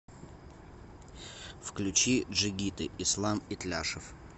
включи джигиты ислам итляшев